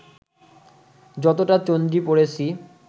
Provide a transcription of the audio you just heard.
যতটা চন্ডী পড়েছি